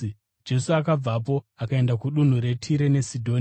Jesu akabvapo akaenda kudunhu reTire neSidhoni.